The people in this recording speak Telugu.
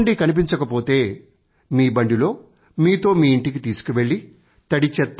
చెత్త కుండీ కనిపించకపోతే మీ బండిలో మీతో మీ ఇంటికి తీసుకువెళ్ళి